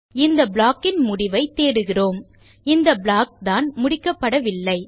இந்த ப்ளாக் இன் முடிவை தேடுகிறோம் இந்த ப்ளாக் தான் முடிக்கப்படவில்லை